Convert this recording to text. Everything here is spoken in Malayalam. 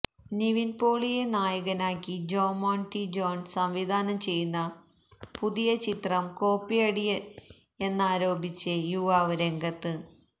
നിവിന് പോളിയെ നായകനാക്കി ജോമോന് ടി ജോണ് സംവിധാനം ചെയ്യുന്ന പുതിയ ചിത്രം കോപ്പിയടിയെന്നാരോപിച്ച് യുവാവ് രംഗത്ത്